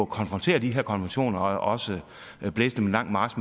konfrontere de her konventioner og også blæse dem en lang march